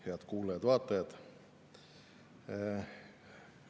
Head kuulajad-vaatajad!